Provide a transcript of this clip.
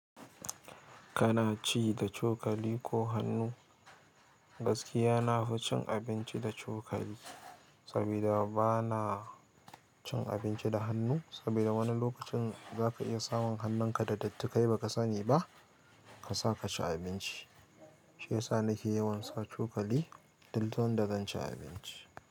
Kana ci da cokali ko hannu? Gaskiya na fi cin abinci da cokali, sabida ba na, cin abinci da hannu, sabida wani lokacin zaka iya samun hannunka da datti kai baka sani ba, kasa kaci abinci. Shiyasa nake yawan sa cokali, this sanda zan ci abinci.